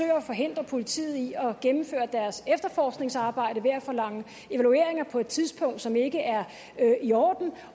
at forhindre politiet i at gennemføre deres efterforskningsarbejde ved at forlange evalueringer på et tidspunkt som ikke er i orden